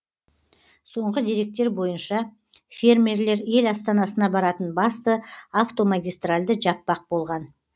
соңғы деректер бойынша фермерлер ел астанасына баратын басты автомагистральды жаппақ болған